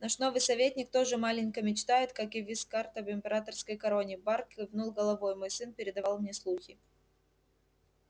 наш новый советник тоже маленько мечтает как и вискард об императорской короне бар кивнул головой мой сын передавал мне слухи